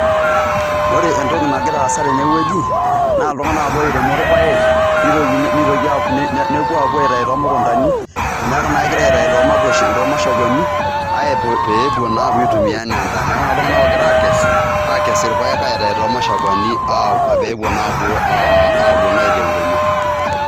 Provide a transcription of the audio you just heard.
Ore entoki nagira aasa tene wueji naa iltung'anak apa oiremo irpaek nitokini nitoki nepuo aapou aitayu too mukundani, neeku naa egirai atayu too mashakwani aapuo pee epuo naa aitumia enaa endaa. Neeku naa iltung'anak ogira aakes, aakes irpaek aitayu too mashakwani pee epuo naa apuo aitaa enkuruma.